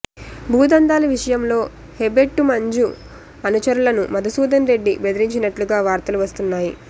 భూదందాల విషయంలో హెబెట్టు మంజు అనుచరులను మధుసూదన్ రెడ్డి బెదిరించినట్లుగా వార్తలు వస్తున్నాయి